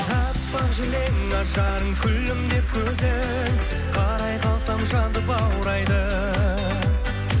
аппақ жілең ажарың күлімдеп көзің қарай қалсам жанды баурайды